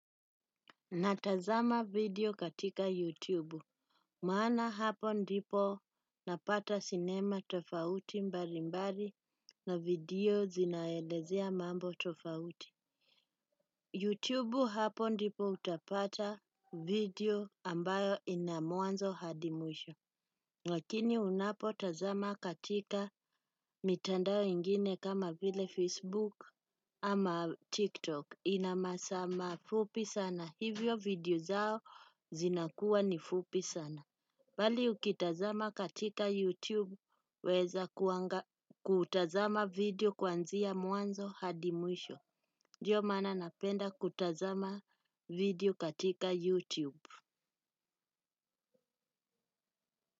Natazama video katika YouTube, maana hapo ndipo napata sinema tofauti mbalimbali na video zinazoelezea mambo tofauti YouTube hapo ndipo utapata video ambayo ina mwanzo hadi mwisho. Lakini unapotazama katika mitandao ingine kama vile Facebook au TikTok. Ina masaa mafupi sana. Hivyo video zao zinakuwa ni fupi sana. Bali ukitazama katika YouTube. Waeza kutazama video kwanzia mwanzo hadi mwisho. Ndio maana napenda kutazama video katika YouTube.